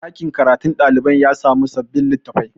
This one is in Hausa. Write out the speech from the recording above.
ɗakin karatun ɗalibai ya samu sabbin litattafai